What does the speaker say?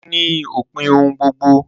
Ikú ni òpin ohun gbogbo